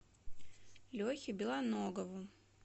лехе белоногову